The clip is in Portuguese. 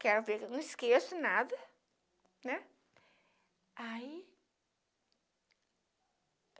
Quero ver, que eu não esqueço nada, né? Aí